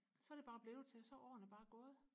så det bare blevet til så er årene bare gået